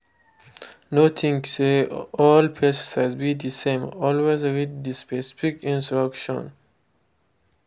no think say all pesticide be the same—always read the specific instruction.